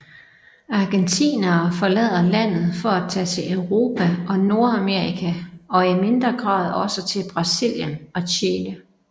Argentinere forlader landet for at tage til Europa og Nordamerika og i mindre grad også til Brasilien og Chile